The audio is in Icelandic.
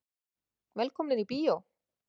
Velkomnir í bíó.